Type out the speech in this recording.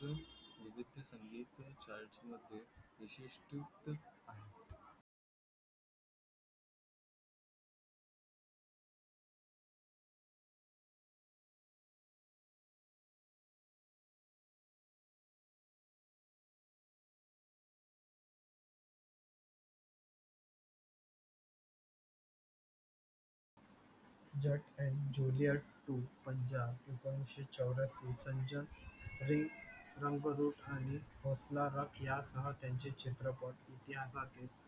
जट आणि Juliet two Punjab एकोनावीसे चौवर्य़ानौ री होसला आहा हा त्यांचा चित्रपट इति हा